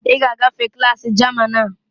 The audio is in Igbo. Ị ga-agafe klaasị German a!